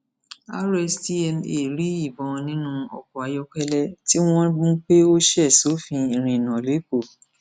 rstma rí ìbọn nínú ọkọ ayọkẹlẹ tí wọn mú pé ó ṣe sófin ìrìnnà lẹkọọ